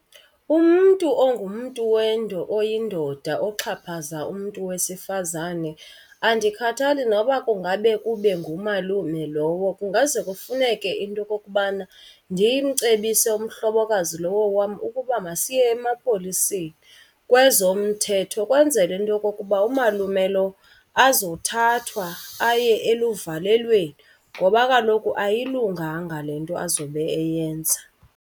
Umntu ongumntu oyindoda oxhaphaza umntu wesifazane andikhathali noba kungabe kube ngumalume lowo kungaze kufuneke into yokokubana ndimcebise umhlobokazi lowo wam ukuba masiye emapoliseni kwezomthetho. Ukwenzela into yokokuba umalume lo azothathwa aye eluvalelweni ngoba kaloku ayilunganga le nto azobe eyenza.